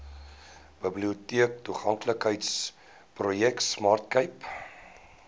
biblioteektoeganklikheidsprojek smart cape